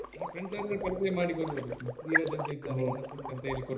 ನನ್ friends company ಮಾಡಿ ಕೊಡ್ಬಹುದ್ ಧೀರಜ್ ಅಂತ ಇದಾನೆ ನನ್ನ friend ಅಂತ ಹೇಳಿ ಮಾಡಿಕೊಡ್ಬಹುದು .